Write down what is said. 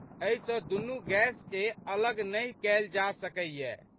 एहि सँ दुनू गैसके अलग नहि कयल जाए सकैए।